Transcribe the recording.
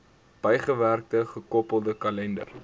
bygewerkte gekoppelde kalender